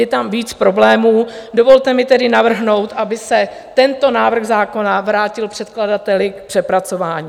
Je tam víc problémů, dovolte mi tedy navrhnout, aby se tento návrh zákona vrátil předkladateli k přepracování.